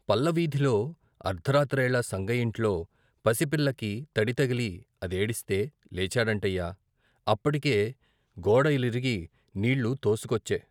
"పల్లవీధిలో అర్ధరాత్రేళ సంగయ్యింట్లో పసిపిల్లకి తడితగిలి అదేడిస్తే లేచాడంటయ్య! అప్పటికే గోడలిరిగి నీళ్ళు తోసుకొచ్చే.